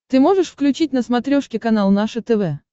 ты можешь включить на смотрешке канал наше тв